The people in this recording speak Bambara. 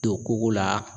Don koko la